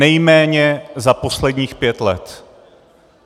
Nejméně za posledních pět let.